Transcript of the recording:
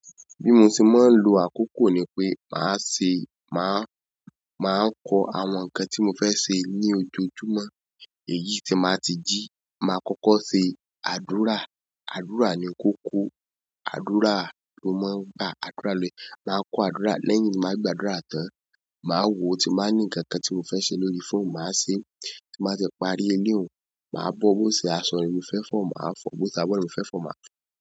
Bí mo ṣe máa ń lo àkókò ni pé màá ṣe, màá, màá kọ àwọn nǹkan tí mo fẹ́ ṣe ní ojoojúmọ́. Èyí tín bà ti jí, màá kọ́kọ́ se àdúrà. Àdúrà ni kókó, àdúrà ló máa ń gba agbára kọ. Màá kọ àdúrà, lẹ́yìn ni màá gba àdúrà tán. Màá wò ó tí mo bá ní nǹkan tí mo fẹ́ ṣe lórí fóònù, màá se é. Tí màá ti parí eleun, màá bọ̀ bó ṣe aṣọ ni mo fẹ́ fọ, màá fọ̀. Bo ṣe abọ n mo fẹ́ fọ, màá fọ.